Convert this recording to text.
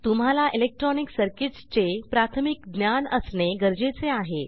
तुम्हाला electronic circuits चे प्राथमिक ज्ञान असणे गरजेचे आहे